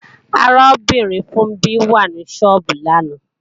Arábìnrin Funbí wà ní sọ́ọ́bù lánàá